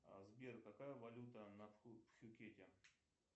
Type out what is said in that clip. сбер какая валюта на пхукете